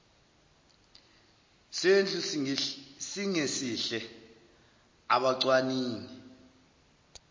sendlu singesihle abacwaningi